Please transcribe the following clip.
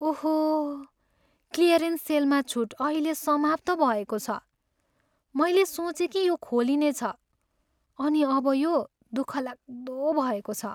ओहो! क्लियरेन्स सेलमा छुट अहिले समाप्त भएको छ। मैले सोचेँ कि यो खोलिनेछ अनि अब यो दुःखलाग्दो भएको छ।